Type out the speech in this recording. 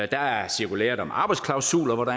der er cirkulæret om arbejdsklausuler